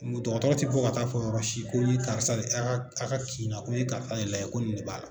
N ko dɔgɔtɔrɔ tɛ bɔ ka taa fɔ yɔrɔ si ko n ye karisa de a ka a ka kin na ko n ye karisa de lajɛ ko nin de b'a la.